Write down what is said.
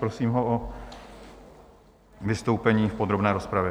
Prosím ho o vystoupení v podrobné rozpravě.